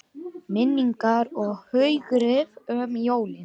Minningar og hughrif um jólin